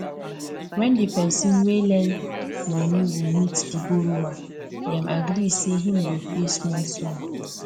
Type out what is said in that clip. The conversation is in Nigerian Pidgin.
when the person wey lend money go meet the borrower them agree say him go pay small small